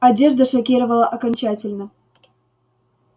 одежда шокировала окончательно